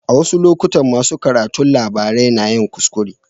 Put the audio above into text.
A wasu lokutan masu karanto labarai na yin kuskure.